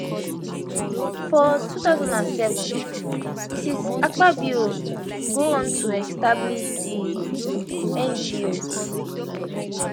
for 2007 mrs akpabio go on to establish di ngo